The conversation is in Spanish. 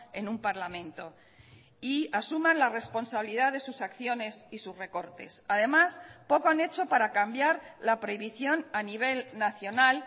en un parlamento y asuman la responsabilidad de sus acciones y sus recortes además poco han hecho para cambiar la prohibición a nivel nacional